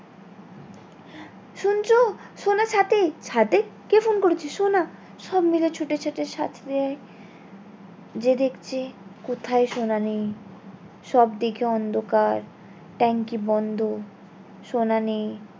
ছাদে কে ফোন করেছে সোনা সব মিলে ছুটেছে গিয়ে দেখছে কোথায় সোনা নেই সব দিকে অন্ধকার ট্যাংকি বন্ধ সোনা নেই